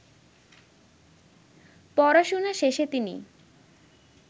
পড়াশোনা শেষে তিনি